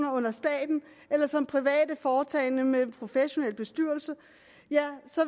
under staten eller som private foretagender med professionelle bestyrelser